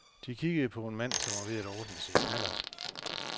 De kiggede på en mand, som var ved at ordne sin knallert.